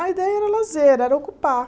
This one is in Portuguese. A ideia era lazer, era ocupar.